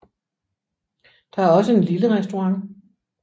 Der er også en lille restaurant